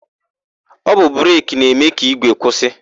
Ọ bụ breki na-eme ka ígwè kwụsị.